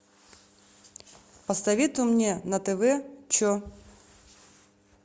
посоветуй мне на тв че